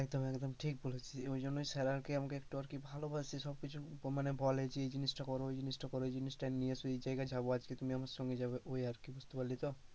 তুই একদম ঠিক বলেছিস, ওই জন্যই sir আর কি আমাকে একটু আর কি ভালোবাসে, সব কিছু মানে বলে যে, এই জিনিসটা কর, ওই জিনিসটা কর, ওই জিনিসটা নিয়ে এস, এই জায়গায় যাবো আজকে তুমি আমার সঙ্গে যাবে ওই আর কি বুঝতে পারলি তো।